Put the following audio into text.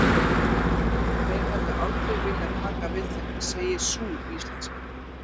En þeir hefðu aldrei viljað taka við þeim, segir sú íslenska.